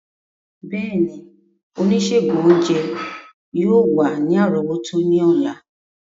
Bẹẹni, onisegun ounjẹ yoo wa ni arọwọto ni ọla.